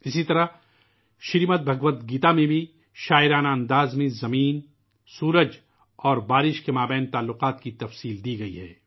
اسی طرح، زمین، سورج اور بارش کے درمیان رشتے پر بھی شریمد بھگوت میں منظوم انداز میں تفصیلی بیان ملتا ہے